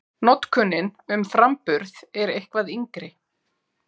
Notkunin um framburð er eitthvað yngri.